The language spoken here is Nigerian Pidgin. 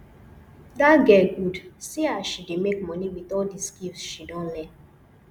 dat girl good see as she dey make money with all the skills she don learn